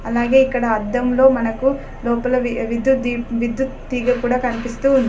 అలాగే ఇక్కడ అద్దంలో మనకు లోపల వి-విద్యుత్ విద్యుత్ తీగ కూడా కనిపిస్తూ ఉంది.